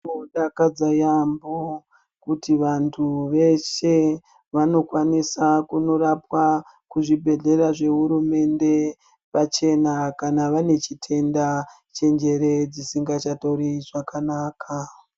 Zvinodakadza yaambo kuti vantu veshe vanokwanisa kurapwa kuzvibhedhlera zvehurumende pachena kana vanechitenda chenjere dzisingachatori zvakanaka.